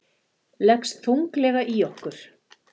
Leggst þunglega í okkur